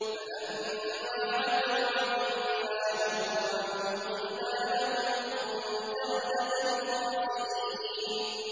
فَلَمَّا عَتَوْا عَن مَّا نُهُوا عَنْهُ قُلْنَا لَهُمْ كُونُوا قِرَدَةً خَاسِئِينَ